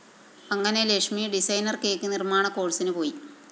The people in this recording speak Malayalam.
അങ്ങനെ ലക്ഷ്മി ഡിസൈനർ കേക്ക്‌ നിര്‍മ്മാണ കോഴ്സിന് പോയി